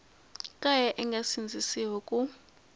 kaya a nge sindzisiwi ku